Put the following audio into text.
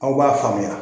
Aw b'a faamuya